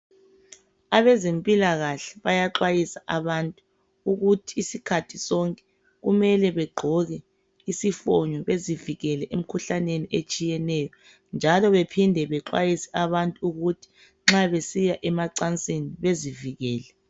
Abezempilakahle bayaxhwayisa abantu ukuthi isikhathi sonke kumele begqoke isifonyo bezivikele emikhuhlaneni etshiyeneyo .Njalo baphinde bexhwayisa abantu ukuthi nxa besiya emacansini bezivikele.